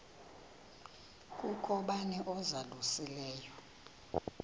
kukho bani uzalusileyo